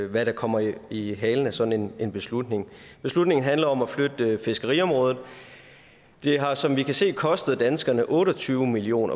hvad der kommer i i halen af sådan en beslutning beslutningen handler om at flytte fiskeriområdet det har som vi kan se kostet danskerne otte og tyve million